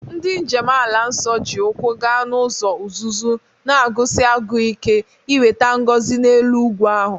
Ndị njem ala nsọ ji ụkwụ gaa n'ụzọ uzuzu, na-agụsi agụụ ike inweta ngọzi n'elu ugwu ahụ.